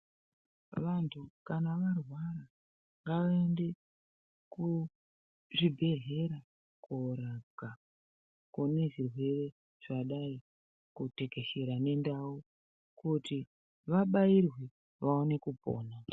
Vantu kana varwara ngavaende kuzvibhedhlera korapwa kune zvirwere zvadai kutekeshera nendau kuti vabairwe vaone kupona.